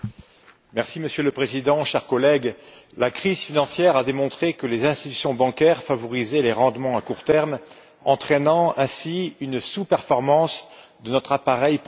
Monsieur le Président, chers collègues, la crise financière a démontré que les institutions bancaires favorisaient les rendements à court terme, entraînant ainsi une sous performance de notre appareil productif.